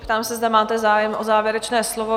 Ptám se, zda máte zájem o závěrečné slovo?